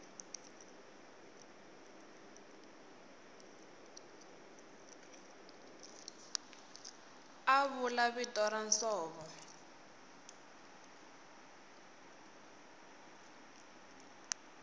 a vula vito ra nsovo